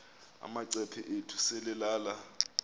amacephe ethu selelal